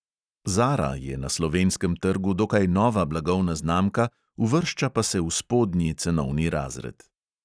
Zara je na slovenskem trgu dokaj nova blagovna znamka, uvršča pa se v spodnji cenovni razred.